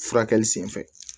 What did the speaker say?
Furakɛli sen fɛ